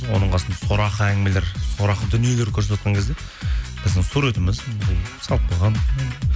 оның қасында сорақы әңгімелер сорақы дүниелер көрсетіватқан кезде біздің суретіміз салып қойған